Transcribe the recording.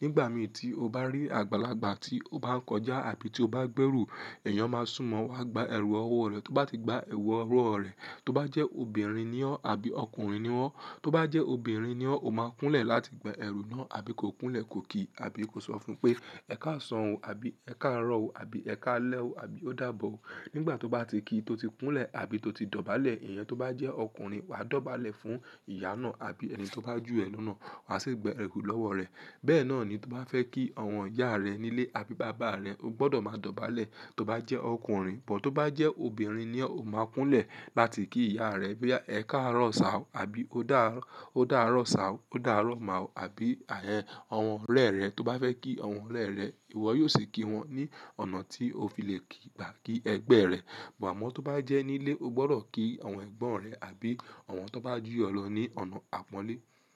Nígbà mì tí o bá rí àgbàlagbà tí o bá ń kọjá àbí tí o bá gbérú, èèyàn máa súnmọ́ ọ wá gba ẹrù ọwọ́ rẹ. Tó bá ti gba ẹrù ọwọ́ rẹ, tó bá jẹ́ obìnrin ni ọ́ àbí ọkùnrin ni wọ́n, tó bá jẹ́ obìnrin ni ọ́, o máa kúnlẹ̀ láti gba ẹrù náà àbí ko kúnlẹ̀ ko kí àbí ko sọ fún pé "Ẹ ká san ò" àbí "Ẹ ká rọ̀ ò" àbí "Ẹ ká lẹ́wò" àbí "Ó dàbọ̀ ó". Nígbà tó bá ti ki tó ti kúnlẹ̀ àbí tó ti dọ̀bálẹ̀, èèyàn tó bá jẹ́ ọkùnrin wàá dọ̀bálẹ̀ fún ìyá náà àbí ẹni tó bá jù ẹ lónà, wà á sì gba ẹrú lọ́wọ́ rẹ̀. Bẹ́ẹ̀ náà ni tó bá fẹ́ kí àwọn ìyá rẹ nílé àbí bàbá rẹ, o gbọdọ̀ máa dọ̀bálẹ̀ tó bá jẹ́ ọkùnrin, bọ̀ tó bá jẹ́ obìnrin ni ọ́, o máa kúnlẹ̀ láti kí ìyá rẹ pé "Ẹ ká rọ̀ sá wò" àbí "Ó dà rọ̀ sá wò" "Ó dà rọ̀ má wò" àbí àyẹ́n àwọn ọ̀rẹ́ rẹ. Tó bá fẹ́ kí àwọn ọ̀rẹ́ rẹ, ìwọ yóò sì kí wọn ní ọ̀nà tí o fi lè kí gba kí ẹgbẹ́ rẹ. Ámò tó bá jẹ́ nílé, o gbọdọ̀ kí àwọn ẹ̀gbọ́n rẹ àbí àwọn tó bá jù ẹ lọ ní ọ̀nà àpọ́nlé.